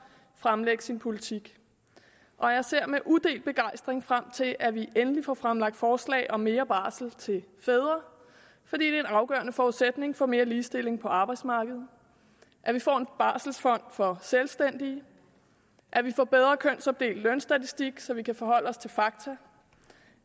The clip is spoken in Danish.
fremlægge sin politik og jeg ser med udelt begejstring frem til at vi endelig får fremlagt forslag om mere barsel til fædre fordi det er en afgørende forudsætning for mere ligestilling på arbejdsmarkedet at vi får en barselfond for selvstændige at vi får bedre kønsopdelt lønstatistik så vi kan forholde os til fakta